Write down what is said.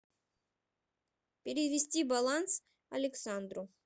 перевести баланс александру